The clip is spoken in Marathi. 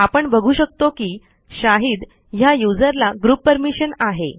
आपण बघू शकतो की शाहीद ह्या यूझर ला ग्रुप परमिशन आहे